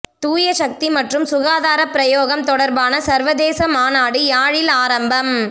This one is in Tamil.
தூயசக்தி மற்றும் சுகாதாரப் பிரயோகம் தொடர்பான சர்வதேச மாநாடு யாழில் ஆரம்பம்